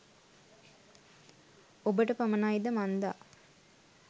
ඔබට පමණයි ද මන්දා